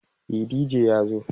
e DJ ya zo